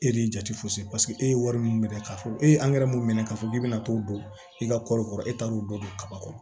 E de ye jate fosi e ye wari min minɛ k'a fɔ e ye mun minɛ k'a fɔ k'i bɛna t'o don i ka kɔɔri kɔrɔ e taar'o dɔ kaba kɔnɔ